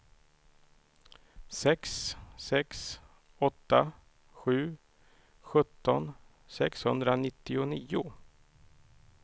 sex sex åtta sju sjutton sexhundranittionio